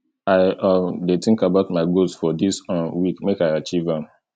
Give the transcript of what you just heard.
i um dey think about my goals for dis um week make i achieve am